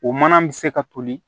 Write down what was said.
O mana bɛ se ka toli